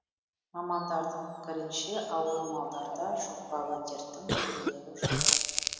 мамандардың пікірінше ауру малдарда жұқпалы дерттің белгілері жоқ